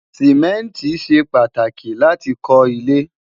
simẹnti ṣé pàtàkì láti kò ile